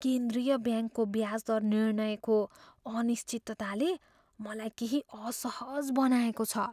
केन्द्रीय ब्याङ्कको ब्याज दर निर्णयको अनिश्चितताले मलाई केही असहज बनाएको छ।